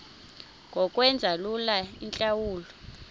ngokwenza lula iintlawulo